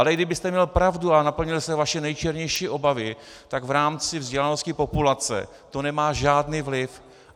Ale i kdybyste měl pravdu a naplnily se vaše nejčernější obavy, tak v rámci vzdělanosti populace to nemá žádný vliv.